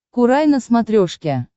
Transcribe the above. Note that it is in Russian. курай на смотрешке